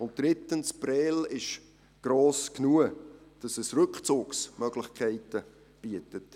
Drittens: Prêles ist gross genug, sodass es Rückzugsmöglichkeiten bietet.